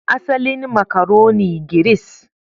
Asalin makaroni, Giris